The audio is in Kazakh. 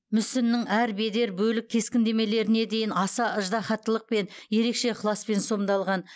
мүсіннің әр бедер бөлік кескіндемелеріне дейін аса ыждаһаттылықпен ерекше ықыласпен сомдалған